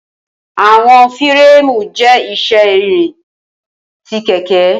Awọn fireemu jẹ iṣẹ irin ti keke